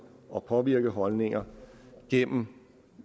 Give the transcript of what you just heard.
og påvirke holdninger gennem